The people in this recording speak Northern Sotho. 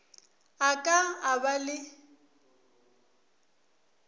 a ka a ba le